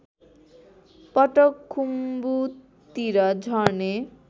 पटक खुम्बुतिर झर्ने